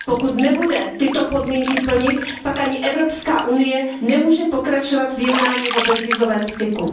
Pokud nebude tyto podmínky plnit, pak ani Evropská unie nemůže pokračovat v jednání o bezvízovém styku.